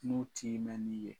N'o t'i ma min ye.